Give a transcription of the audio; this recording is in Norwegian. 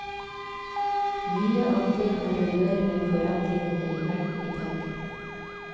Mye av det har å gjøre med forandringene i verden i dag.